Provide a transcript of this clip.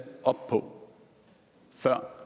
op på før